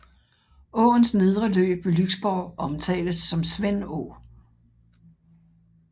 Åens nedre løb ved Lyksborg omtales som Svendå